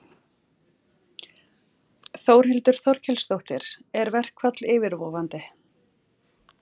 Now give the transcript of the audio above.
Þórhildur Þorkelsdóttir: Er verkfall yfirvofandi?